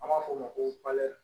An b'a f'o ma ko